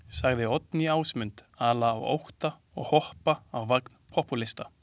Sagði Oddný Ásmund ala á ótta og hoppa á vagn popúlista.